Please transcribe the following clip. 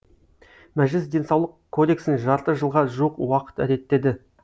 мәжіліс денсаулық кодексін жарты жылға жуық уақыт реттеді